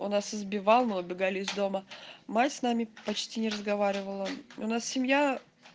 он нас избивал мы убегали из дома мать с нами почти не разговаривала у нас семья